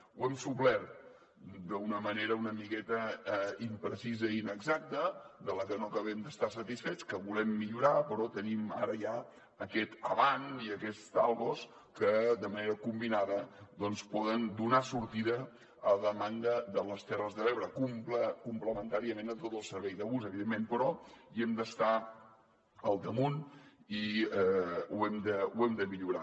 ho hem suplert d’una manera una miqueta imprecisa i inexacta de la que no acabem d’estar satisfets que volem millorar però tenim ara ja aquest avant i aquests talgos que de manera combinada doncs poden donar sortida a la demanda de les terres de l’ebre complementàriament a tot el servei de bus evidentment però hi hem d’estar al damunt i ho hem de millorar